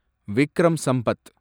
Vikram Sampath